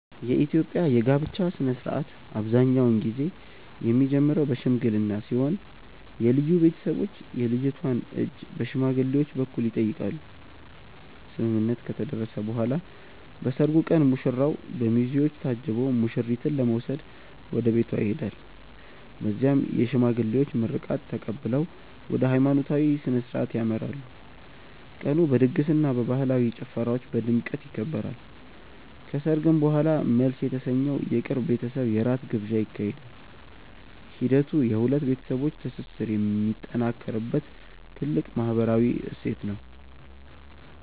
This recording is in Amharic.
የኢትዮጵያ የጋብቻ ሥነ ሥርዓት አብዛኛውን ጊዜ የሚጀምረው በሽምግልና ሲሆን የልጁ ቤተሰቦች የልጅቷን እጅ በሽማግሌዎች በኩል ይጠይቃሉ። ስምምነት ከተደረሰ በኋላ በሰርጉ ቀን ሙሽራው በሚዜዎች ታጅቦ ሙሽሪትን ለመውሰድ ወደ ቤቷ ይሄዳል። በዚያም የሽማግሌዎች ምርቃት ተቀብለው ወደ ሃይማኖታዊ ሥነ ሥርዓት ያመራሉ። ቀኑ በድግስና በባህላዊ ጭፈራዎች በድምቀት ይከበራል። ከሰርግ በኋላም መልስ የተሰኘው የቅርብ ቤተሰብ የራት ግብዣ ይካሄዳል። ሂደቱ የሁለት ቤተሰቦች ትስስር የሚጠናከርበት ትልቅ ማህበራዊ እሴት ነው።